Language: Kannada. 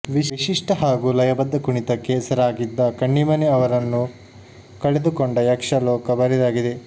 ವಿಶಿಷ್ಟ ಹಾಗೂ ಲಯಬದ್ಧ ಕುಣಿತಕ್ಕೆ ಹೆಸರಾಗಿದ್ದ ಕಣ್ಣಿಮನೆ ಅವರನ್ನು ಕಳೆದುಕೊಂಡ ಯಕ್ಷ ಲೋಕ ಬರಿದಾಗಿದೆ